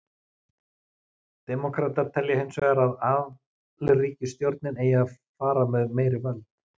Demókratar telja hins vegar að alríkisstjórnin eigi að fara með meiri völd.